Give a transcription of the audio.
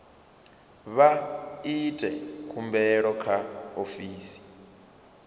vha ite khumbelo kha ofisi